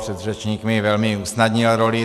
Předřečník mi velmi usnadnil roli.